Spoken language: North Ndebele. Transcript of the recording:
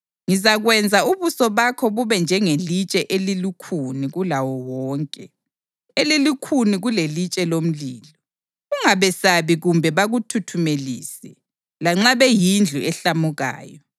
Ngizakwenza ubuso bakho bube njengelitshe elilukhuni kulawo wonke, elilukhuni kulelitshe lomlilo. Ungabesabi kumbe bakuthuthumelise, lanxa beyindlu ehlamukayo.”